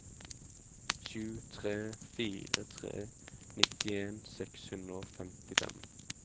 sju tre fire tre nittien seks hundre og femtifem